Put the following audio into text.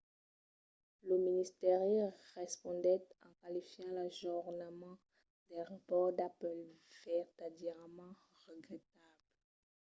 lo ministèri respondèt en qualificant l'ajornament del rapòrt d'apple de vertadièrament regretable.